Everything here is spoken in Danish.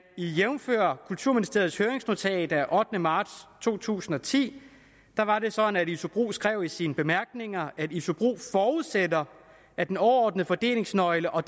jævnfør kulturministeriets høringsnotat af ottende marts to tusind og ti var det sådan at isobro skrev i sine bemærkninger at isobro forudsætter at den overordnede fordelingsnøgle og